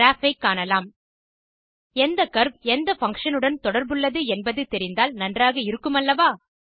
graph ஐ காணலாம் எந்த கர்வ் எந்த பங்ஷன் உடன் தொடர்புள்ளது என்பது தெரிந்தால் நன்றாக இருக்குமல்லவா